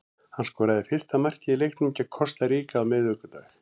Hann skoraði fyrsta markið í leiknum gegn Kosta Ríka á miðvikudag.